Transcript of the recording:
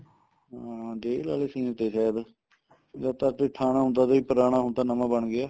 ਹਾਂ ਜੇਲ ਵਾਲੇ scene ਤੇ ਸਾਇਦ ਜਦ ਤਾਂ ਅੱਗੇ ਥਾਣਾ ਹੁੰਦਾ ਸੀ ਪੁਰਾਣਾ ਹੁਣ ਤਾਂ ਨਵਾ ਬਣ ਗਿਆ